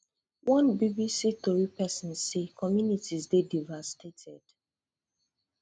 one bbc tori pesin say communities dey devastated